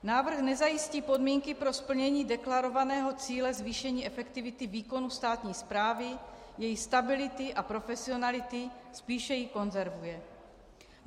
Návrh nezajistí podmínky pro splnění deklarovaného cíle zvýšení efektivity výkonu státní správy, její stability a profesionality, spíše ji konzervuje.